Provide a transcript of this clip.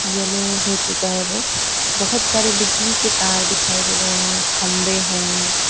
Yellow हो चुका है वो बहुत सारे बिजली के तार दिखाई भी दे रहे हैं खंभे हैं।